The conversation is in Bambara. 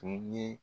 Tun ye